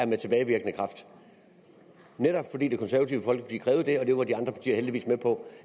med tilbagevirkende kraft netop fordi det konservative folkeparti krævede det og det var de andre partier heldigvis med på